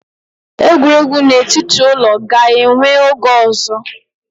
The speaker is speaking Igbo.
Egwuregwu n'etiti ụlọ ga-enwe oge ọzọ